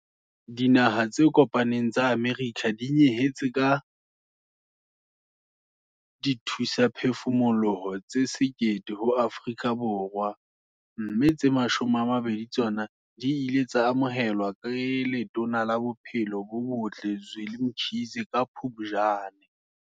Dinaha tse Kopaneng tsa Amerika di nyehetse ka dithusaphefumoloho tse 1 000 ho Afrika Borwa, mme tse 20 tsa tsona di ile tsa amohelwa ke Letona la Bophelo bo Botle Zweli Mkhize ka Phuptjane.